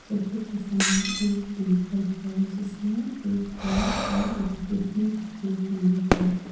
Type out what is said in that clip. सोफे के सामने एक टेबल है जिसमें एक पेन और एक डिब्बी रखी हुई है।